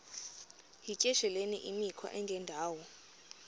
yityesheleni imikhwa engendawo